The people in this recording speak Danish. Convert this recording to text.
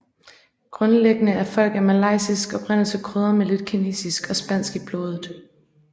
Grundlæggende er folk af malayisk oprindelse krydret med lidt kinesisk og spansk blod